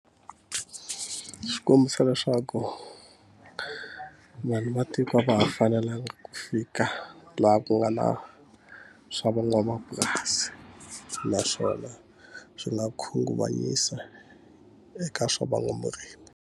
Xi kombisa leswaku vanhu va tiko a va ha fanelanga ku fika laha ku nga na swa van'wamapurasi, naswona swi nga khunguvanyisa eka swa van'wamurimi.